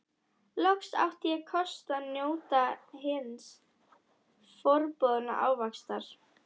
Loks átti ég kost á að njóta hins forboðna ávaxtar!